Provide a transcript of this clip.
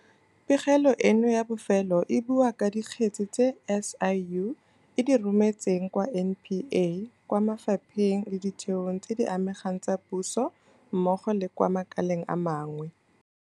Pegelo eno ya bofelo e bua ka dikgetse tse SIU e di rometseng kwa NPA, kwa mafapheng le ditheong tse di amegang tsa puso mmogo le kwa makaleng a mangwe.